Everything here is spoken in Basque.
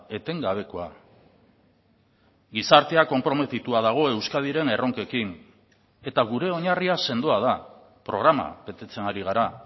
etengabekoa gizartea konprometitua dago euskadiren erronkekin eta gure oinarria sendoa da programa betetzen ari gara